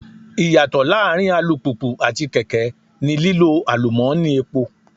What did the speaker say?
Ìyàtọ̀ láàárín alùpùpù àti kèké ni lílo àlùmọ́ni epo.